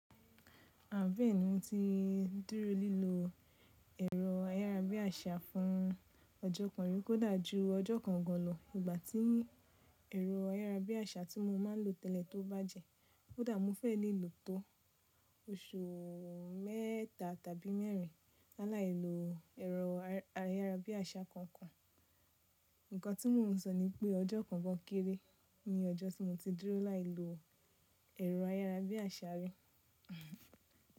Àbení mo ti dúró lílo ẹ̀rọ ayárabíàṣá fún ọjọ́ kan rí kó dà jú ọjọ́ kan gan an lọ ìgbà tí ẹ̀rọ ayárabíàṣá tí mo máa ń lò tẹ́lẹ̀ tó bàjẹ́. Kó dà mó fẹ́ lelo tó oṣù mẹ́ta tàbí mẹ́rin láàlélò ẹ̀rọ ayárabíàṣá kankan. Ǹkan tí mò ń sọ ni pé ọjọ́ kan gan kéré ní ọjọ́ tí mo ti dúró láìlo ẹ̀rọ ayárabíàṣá rí.